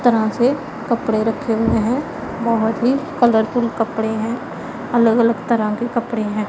तरह से कपड़े रखे हुए हैं बहोत ही कलर फुल कपड़े हैं अलग अलग तरह के कपड़े हैं।